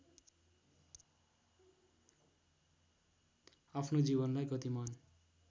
आफ्नो जीवनलाई गतिमान